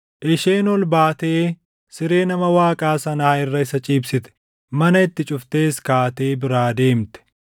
Isheen ol baatee siree nama Waaqaa sanaa irra isa ciibsite; mana itti cuftees kaatee biraa deemte.